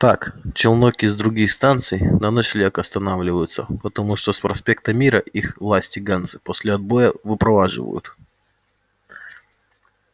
так челноки с других станций на ночлег останавливаются потому что с проспекта мира их власти ганзы после отбоя выпроваживают